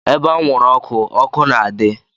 Ebe anwụrụ ọkụ, ọkụ na-adị.